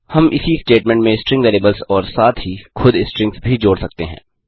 हम इसी स्टेटमेंट में स्ट्रिंग वेरिएबल्स और साथ ही खुद स्ट्रिंग्स भी जोड़ सकते हैं